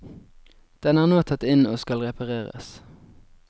Den er nå tatt inn og skal repareres.